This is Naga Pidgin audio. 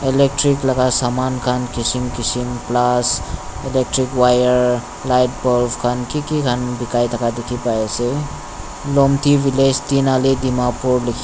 electric laka saman khan kishim kishim plas electric wire light bulbs khan kiki khan bikai thaka dikhipaiase lomthi village teenali dimapur likhi.